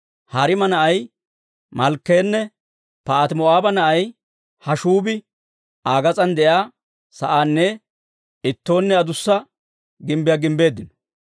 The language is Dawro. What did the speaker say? Hariima na'ay Malkkeenne Paahati-Moo'aaba na'ay Hashshuubi Aa gas'aan de'iyaa sa'aanne Ittoonne Adussa Gimbbiyaa gimbbeeddino.